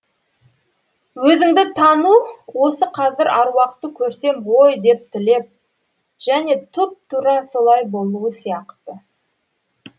өзіңді тану осы қазір аруақты көрсем ғой деп тілеп және тұп тура солай болуы сияқты